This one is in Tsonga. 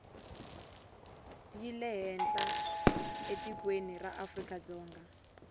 yi lehenhla etikweni ra afrikadzonga